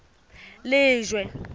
lejwe